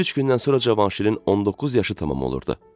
Üç gündən sonra Cavanşirin 19 yaşı tamam olurdu.